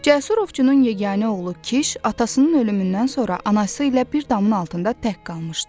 Cəsur ovçunun yeganə oğlu Kiş atasının ölümündən sonra anası ilə bir damın altında tək qalmışdı.